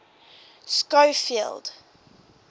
schofield